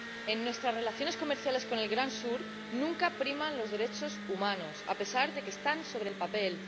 En nuestras relaciones comerciales con el Gran Sur nunca priman los derechos humanos, a pesar de que están sobre el papel.